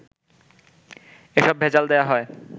এসব ভেজাল দেয়া হয়